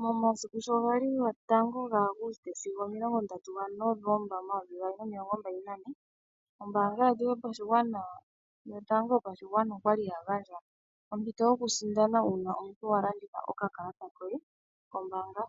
Momasiku sho gali 01 Aguste sigo 30 Novomba 2024 ombaanga yetu yopashigwana yotango yopashigwana okwa li yagandja ompito yoku sindana uuna omuntu wa landitha oka kalata koye kombaanga